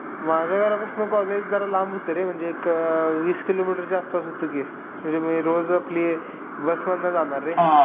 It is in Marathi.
आणि जिवनाबद्दल सांगायचे त्यांच्या किंवा आपण आपल्या जिवनामध्ये कसं वागायचं ते ही सांगायचे.